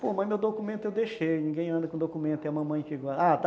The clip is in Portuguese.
Pô, mas meu documento eu deixei, ninguém anda com documento, é a mamãe que guarda, ah, tá.